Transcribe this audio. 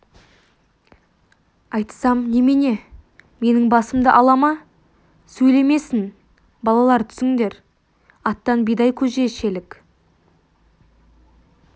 айтсам немене менің басымды ала ма сөйлемесін балалар түсіңдер аттан бидай көже ішелік